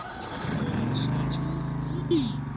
что такое наносемантика